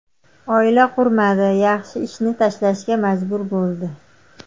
Oila qurmadi, yaxshi ishini tashlashga majbur bo‘ldi.